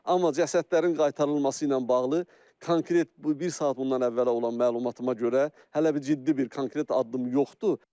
Amma cəsədlərin qaytarılması ilə bağlı konkret bu bir saat bundan əvvələ olan məlumatıma görə hələ bir ciddi bir konkret addım yoxdur.